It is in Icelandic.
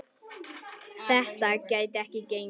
Þetta gæti ekki gengið.